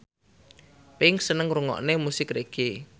Pink seneng ngrungokne musik reggae